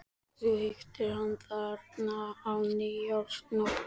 Þú hittir hann þarna á nýársnótt.